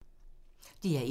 DR1